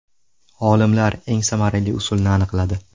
Olimlar eng samarali usulni aniqladi.